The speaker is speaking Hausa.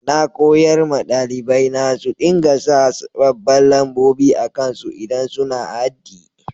Na koyar ma dalibai na su dinga sa babban lambobi akan su idan suna haddi.